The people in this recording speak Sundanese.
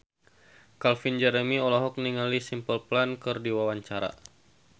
Calvin Jeremy olohok ningali Simple Plan keur diwawancara